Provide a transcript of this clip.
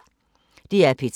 DR P3